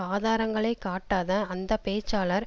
ஆதாரங்களை காட்டாத அந்த பேச்சாளர்